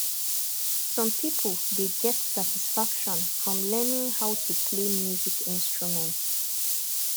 some pipo dey get satisfaction from learning how to play music instrunment